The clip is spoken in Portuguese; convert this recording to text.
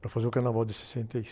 Para fazer o Carnaval de sessenta e...